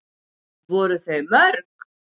Voru þau mörg?